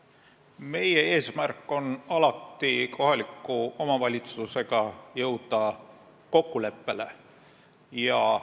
Meie eesmärk on alati kohaliku omavalitsusega kokkuleppele jõuda.